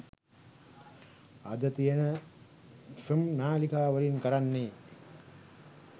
අද තියෙන ෆ්ම් නාලිකා වලින් කරන්නේ